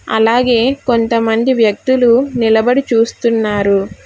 అలాగే కొంతమంది వ్యక్తులు నిలబడి చూస్తున్నారు.